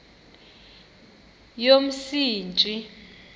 yomsintsi